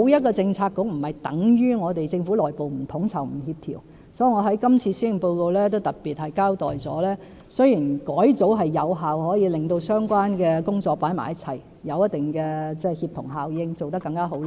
所以，我在今次的施政報告中也特別交代，雖然改組可有效地把相關工作放在一起，產生一定的協同效應，做得更好，